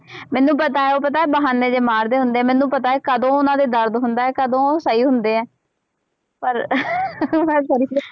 ਮੈਨੂੰ ਪਤਾ ਹੈ ਉਹ ਪਤਾ ਬਹਾਨੇ ਜਿਹੇ ਮਾਰਦੇ ਹੁੰਦੇ ਆ, ਮੈਨੂੰ ਪਤਾ ਹੈ ਕਦੋਂ ਉਹਨਾਂ ਦੇ ਦਰਦ ਹੁੰਦਾ ਹੈ ਕਦੋਂ ਸਹੀ ਹੁੰਦੇ ਹੈ ਪਰ